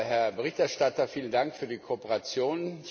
Herr Berichterstatter, vielen Dank für die Kooperation.